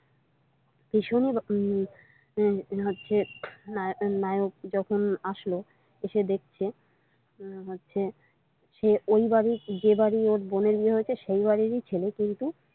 উম হচ্ছে নায়ক যখন আসলো এসে দেখছে হচ্ছে সে ওই বাড়ির যে বাড়ির ওর বোনের বিয়ে হয়েছে সেই বাড়িরই ছেলে কিন্তু।